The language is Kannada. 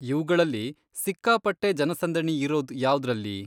ಇವ್ಗಳಲ್ಲಿ ಸಿಕ್ಕಾಪಟ್ಟೆ ಜನಸಂದಣಿ ಇರೋದ್ ಯಾವ್ದ್ರಲ್ಲಿ?